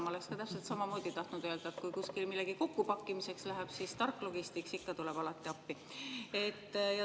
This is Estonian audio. Ma oleksin täpselt samamoodi tahtnud öelda, et kui kuskil millegi kokkupakkimiseks läheb, siis Stark Logistics tuleb alati appi.